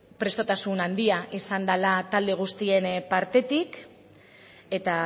prestutasun handia izan dela talde guztien partetik eta